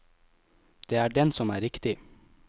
Det er den som er riktig.